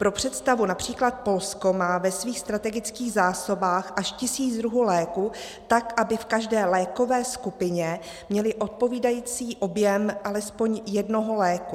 Pro představu, například Polsko má ve svých strategických zásobách až tisíc druhů léků, tak aby v každé lékové skupině měli odpovídající objem alespoň jednoho léku.